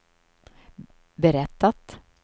berättat